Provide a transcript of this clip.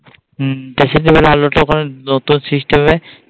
who dressing table